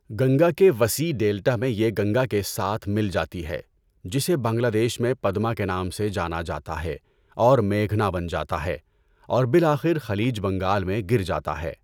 گنگا کے وسیع ڈیلٹا میں یہ گنگا کے ساتھ مل جاتی ہے، جسے بنگلہ دیش میں پدما کے نام سے جانا جاتا ہے، اور میگھنا بن جاتا ہے اور بالآخر خلیج بنگال میں گر جاتا ہے۔